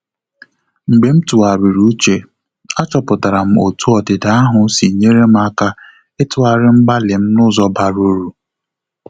Mgbe m tụgharịrị uche, achọpụtara m otú ọdịda ahụ si nyere m aka ịtughari mgbalị m n’ụzọ bara uru.